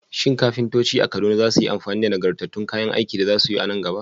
Shin kafintoci a Kaduna za su yi amfani da nagartattun kayan aikin da za su yi a nan gaba?